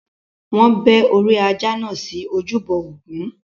Wọn bẹ́ orí ajá náà sí ojúbọ Ògún.